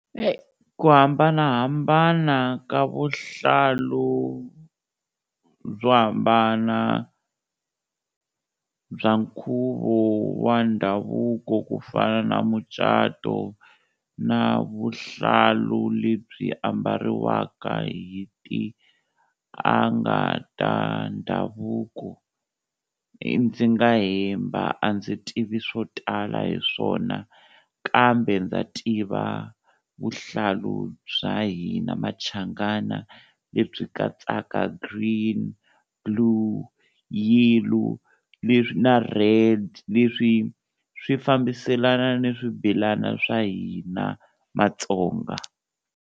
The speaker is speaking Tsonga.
ku hambanahambana ka vuhlalu byo hambana bya nkhuvo wa ndhavuko ku fana na mucato na vuhlalu lebyi ambariwaka hi tianga ta ndhavuko, ndzi nga hemba a ndzi tivi swo tala hi swona kambe ndza tiva vuhlalu bya hina Machangana lebyi katsaka green, blue, yellow, leswi na red leswi swi fambiselana ni swibelana swa hina Matsonga.